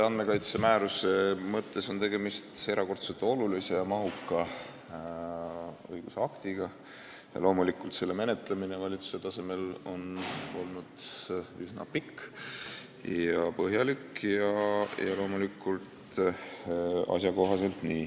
Andmekaitse määruse puhul on tegemist erakordselt olulise ja mahuka õigusaktiga ning loomulikult on selle menetlemine valitsuse tasemel olnud üsna pikk ja põhjalik, mis on ka asjakohane.